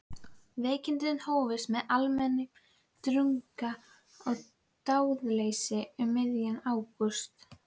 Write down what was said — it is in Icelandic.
Veikindin hófust með almennum drunga og dáðleysi um miðjan ágúst.